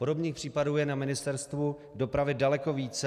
Podobných případů je na Ministerstvu dopravy daleko více.